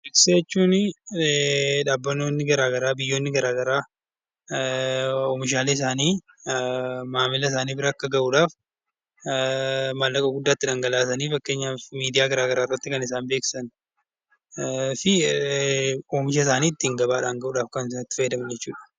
Beeksisa jechuun dhaabbatootni gara garaa, biyyoonni gara garaa oomishaan isaanii maammila isaanii bira akka gahuu dhaaf maallaqa guddaa itti dhangalaasanii fakkeenyaaf miidiyaa gara garaa irratti kan isaan beeksisan fi oomisha isaanii ittiin gabaadhaan gahuu dhaaf kan isaan itti fayyadaman jechuu dha.